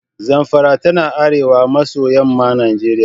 Zamfara tana arewa maso yamman Najeriya.